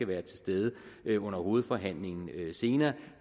være til stede under hovedforhandlingen senere